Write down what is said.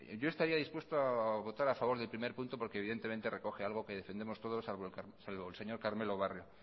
yo estaría dispuesto a votar a favor del primer punto porque evidentemente recoge algo que defendemos todos salvo el señor carmelo barrio